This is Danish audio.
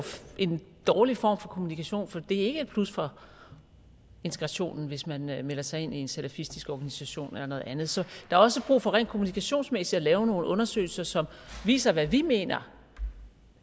en dårlig form for kommunikation for det er ikke et plus for integrationen hvis man melder sig ind i en salafistisk organisation eller noget andet så er også brug for rent kommunikationsmæssigt at lave nogle undersøgelser som viser hvad vi mener